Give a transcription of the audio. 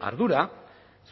ardura